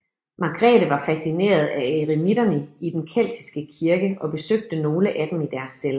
Margrethe var fascineret af eremitterne i den keltiske kirke og besøgte nogle af dem i deres celler